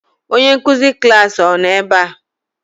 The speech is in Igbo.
Onye nkuzi klaasị gị ọ nọ ebe a?